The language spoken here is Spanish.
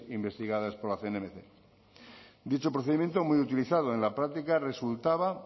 investigadas por la cnmc dicho procedimiento muy utilizado en la práctica resultaba